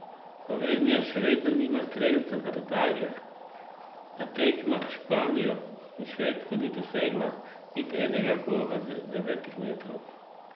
Slovenija še vedno nima strelca z razdalje, na tekmah s Španijo in Švedsko ni dosegla niti enega gola z devetih metrov.